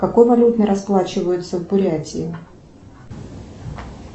какой валютой расплачиваются в бурятии